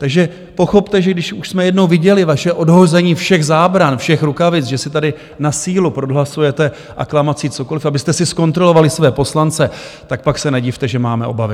Takže pochopte, že když už jsme jednou viděli vaše odhození všech zábran, všech rukavic, že si tady na sílu prohlasujete aklamací cokoliv, abyste si zkontrolovali své poslance, tak pak se nedivte, že máme obavy.